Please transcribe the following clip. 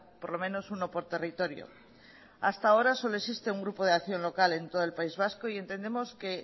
por lo menos uno por territorio hasta ahora solo existe un grupo de acción local en todo el país vasco y entendemos que